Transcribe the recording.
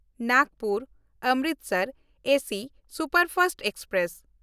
ᱱᱟᱜᱽᱯᱩᱨ–ᱚᱢᱨᱤᱥᱚᱨ AC superfast express